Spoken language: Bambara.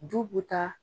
Du bɛ taa